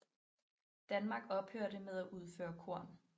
Danmark ophørte med at udføre korn